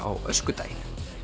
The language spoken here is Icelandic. á öskudaginn